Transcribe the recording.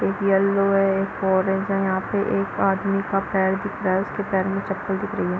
एक येलो है एक ऑरेंज है यहाँ पे एक आदमी का पैर दिख रहा है उसके पैर में चप्पल दिख रही है।